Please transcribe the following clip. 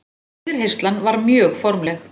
Yfirheyrslan var mjög formleg.